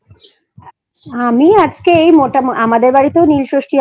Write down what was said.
আমি আজকে এই মোটামুটি আমাদের বাড়িতেও নীল ষষ্ঠী